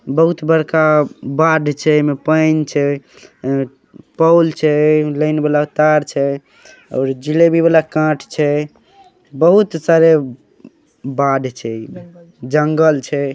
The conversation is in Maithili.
बहुत बड़का बाढ़ छै एमे पऐन छै एमे पोल छै लाइन वाला तार छै और जिलेबी वाला काट छै बहुत सारे बाढ़ छै जंगल छै।